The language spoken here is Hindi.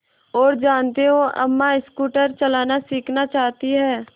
और जानते हो अम्मा स्कूटर चलाना सीखना चाहती हैं